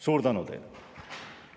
Suur tänu teile!